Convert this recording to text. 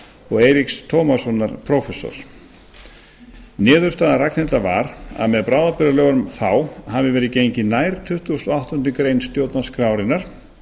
og eiríks tómassonar prófessors niðurstaða ragnhildar var að með bráðabirgðalögunum þá hafi verið gengið nær tuttugasta og áttundu grein stjórnarskrárinnar